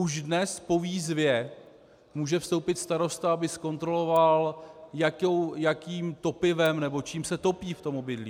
Už dnes po výzvě může vstoupit starosta, aby zkontroloval, jakým topivem nebo čím se topí v tom obydlí.